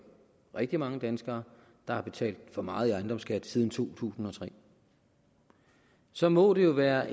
rigtig mange danskere der har betalt for meget i ejendomsskat siden to tusind og tre så må det jo være